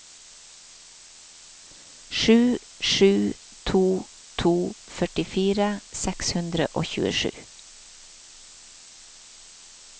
sju sju to to førtifire seks hundre og tjuesju